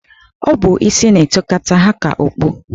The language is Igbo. Ọ bụ isi na-etokata ha ka okpu.